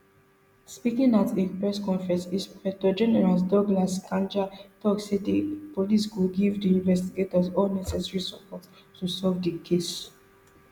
speaking at a press conference inspector general douglas kanja tok say di police go give di investigators all necessary support to solve di case